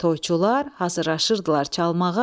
Toyçular hazırlaşırdılar çalmağa.